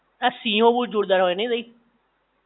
આ સિંહો બોવ જોરદાર હોય નહિ તઇ?